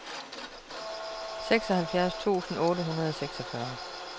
seksoghalvfjerds tusind otte hundrede og seksogfyrre